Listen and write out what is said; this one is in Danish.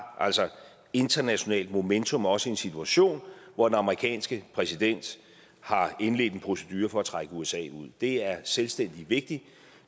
internationalt momentum også i en situation hvor den amerikanske præsident har indledt en procedure for at trække usa ud det er selvstændigt vigtigt